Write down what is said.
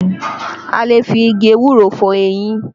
A lè fi igi ewúro fọ eyín